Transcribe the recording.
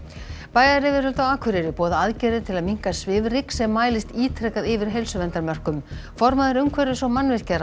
bæjaryfirvöld á Akureyri boða aðgerðir til að minnka svifryk sem mælist ítrekað yfir heilsuverndarmörkum formaður umhverfis og